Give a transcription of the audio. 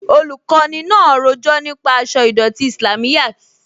Olùkọni náà rọjọ̀ nípa àṣọ̀ idọ̀tí Islámíyàt.